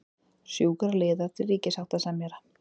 Sjúkraliðar til ríkissáttasemjara